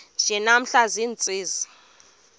nje namhla ziintsizi